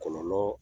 Kɔlɔlɔ